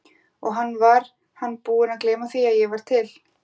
Og hann, var hann búinn að gleyma því að ég var til?